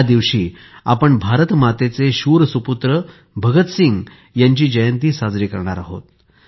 या दिवशी आपण भारतमातेचे शूर सुपुत्र भगतसिंग यांची जयंती साजरी करणार आहोत